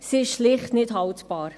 Sie ist schlicht nicht haltbar.